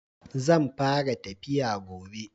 Zan fara tafiya gobe.